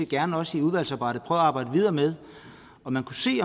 gerne også i udvalgsarbejdet at arbejde videre med om man kunne se